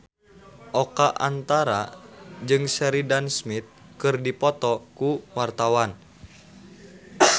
Oka Antara jeung Sheridan Smith keur dipoto ku wartawan